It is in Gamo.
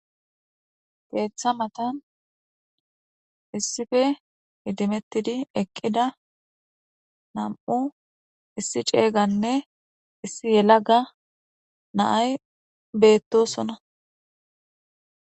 Keeththa matan issife hidimettidi eqqida nam7u issi ceeyganne issi yela ga naay beettosona.